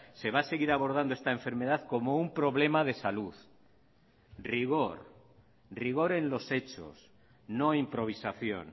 se va a seguir abordando esta enfermedad como un problema de salud rigor rigor en los hechos no improvisación